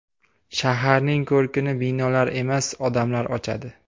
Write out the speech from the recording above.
Shaharning ko‘rkini binolar emas, odamlar ochadi.